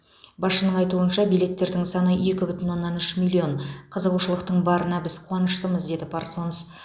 басшысының айтуынша билеттердің саны екі бүтін оннан үш миллион қызығушылықтың барына біз қуаныштымыз деді парсонс